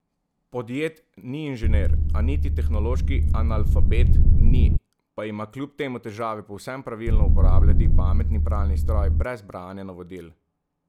Podjed ni inženir, a niti tehnološki analfabet ni, pa ima kljub temu težave povsem pravilno uporabljati pametni pralni stroj brez branja navodil.